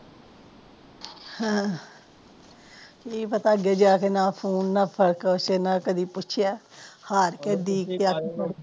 ਅਹ ਕਿ ਪਤਾ ਅੱਗੇ ਜਾ ਕੇ ਨਾ ਫੋਨ ਨਾ ਫਾਕਾ ਕੁਜ ਨਾ ਕਦੇ ਪੁੱਛਿਆ ਹਾਰ ਕੇ ਡੀਕ ਕੇ